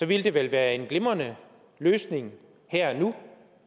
ville det vel være en glimrende løsning her og nu